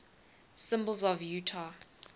symbols of utah